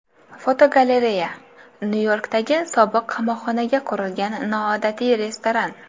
Fotogalereya: Nyu-Yorkdagi sobiq qamoqxonaga qurilgan noodatiy restoran.